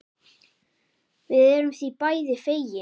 Við erum því bæði fegin.